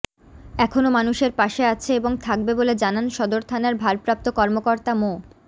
এখনো মানুষের পাশে আছে এবং থাকবে বলে জানান সদর থানার ভারপ্রাপ্ত কর্মকর্তা মো